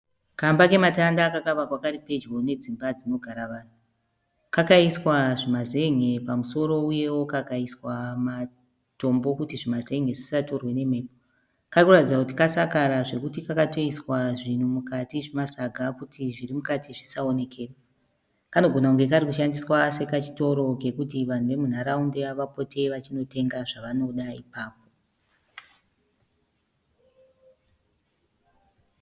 Kamba kematanda kakavakwa kari pedyo nedzimba dzinogara vanhu kakaiswa zvimazenge pamusoro uyewo kakaiswa zvimatombo kuti zvimazenge zvisatorwa nemhepo. Kari kuratidza kuti kasakara zvekuti kakatoiswa zvinhu mukati zvimasaga kuti zviri mukati zvisaoneka. Kanogona kachitoshandiswa sekachitoro kuti vanhu vemunharaunda vapote vachinotenga zvavanoda ipapo.